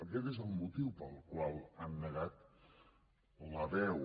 aquest és el motiu pel qual els han negat la veu